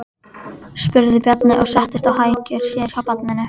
spurði Bjarni og settist á hækjur sér hjá barninu.